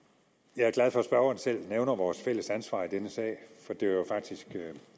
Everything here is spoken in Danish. jeg er glad for at spørgeren selv nævner vores fælles ansvar i denne sag for det var faktisk